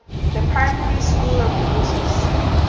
the primary school of moses